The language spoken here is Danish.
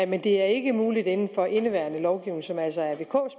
men det er ikke muligt inden for indeværende lovgivning som altså er vks